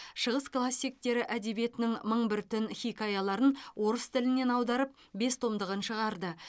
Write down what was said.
шығыс классиктері әдебиетінің мың бір түн хикаяларын орыс тілінен аударып бес томдығын шығарды